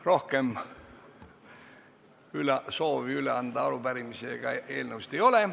Rohkem soovi arupärimisi ega eelnõusid üle anda ei ole.